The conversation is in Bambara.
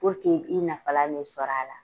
Puruke i nafalan be sɔrɔ a la.